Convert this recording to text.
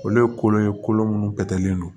Olu ye kolo ye kolo minnu bɛtɛlen don